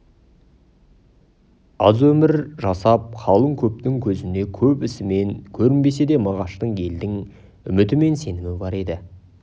аз өмір жасап қалың көптің көзіне көп ісімен көрінбесе де мағашта елдің үміті мен сенімі бар еді